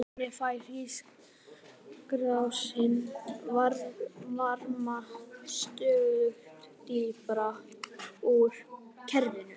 Þannig fær hringrásin varma stöðugt dýpra úr kerfinu.